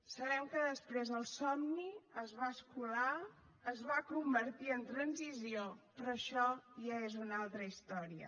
sabem que després el somni es va escolar es va convertir en transició però això ja és una altra història